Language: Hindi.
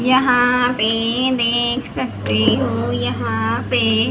यहां पे देख सकते हो यहां पे --